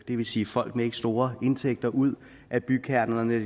vil sige folk med ikke store indtægter ud af bykernerne